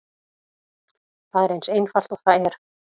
Það er eins einfalt og það er.